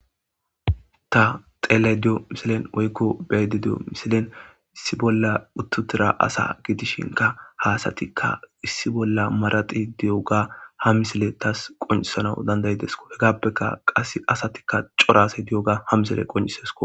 ta xele diyo misilen woykko beydi diyo misilen issi bolla uttutira asa gidishinka haasatikka issi bolla maraxi di7oga ha misile tas qoncisana dandayidesko hegappeka qas asatikka corase di7oga ha misile qonisesko